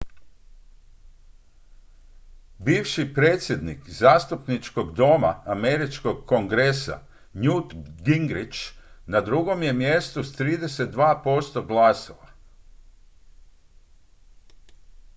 bivši predsjednik zastupničkog doma američkog kongresa newt gingrich na drugom je mjestu s 32 posto glasova